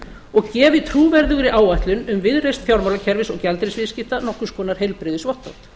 og gefi trúverðugri áætlun um viðreisn fjármálakerfis og gjaldeyrisviðskipta nokkurs konar heilbrigðisvottorð